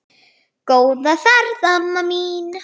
Góða ferð, amma mín.